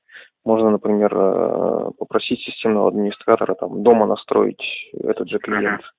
можно например попросить системного администратора там дома настроить этот же клиент угу